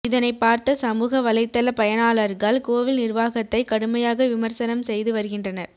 இதனை பார்த்த சமூக வலைதள பயனாளர்கள் கோவில் நிர்வாகத்தை கடுமையாக விமர்சனம் செய்து வருகின்றனர்